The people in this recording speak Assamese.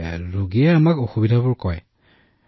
হয় ৰোগীয়ে আমাক তেওঁৰ অসুবিধাৰ বিষয়েও কয়